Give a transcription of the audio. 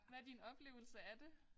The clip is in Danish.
Hvad din oplevelse af det?